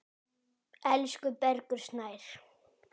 Elsku Bergur Snær.